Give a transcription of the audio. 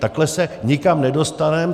Takhle se nikam nedostaneme.